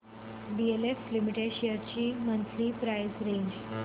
DLF limited shares ची monthly price range